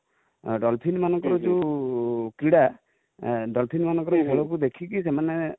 dolphin ମାନଙ୍କର ଯୋଉ କ୍ରୀଡା ,dolphin ମାନଙ୍କର ଖେଳ କୁ ଦେଖି କି ସେମାନେ